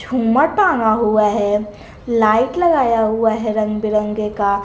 झुमर टांगा हुआ है लाइट लगाया हुआ है रंग बिरंगे का।